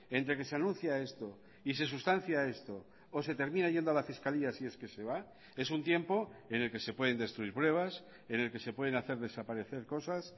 entre que se anuncia esto y se sustancia esto o se termina yendo a la fiscalía si es que se va es un tiempo en el que se pueden destruir pruebas en el que se pueden hacer desaparecer cosas